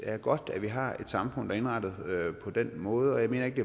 er godt at vi har et samfund der er indrettet på den måde og jeg mener ikke